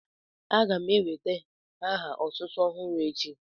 A ga m enwèta aha otútú ọhụrụ echi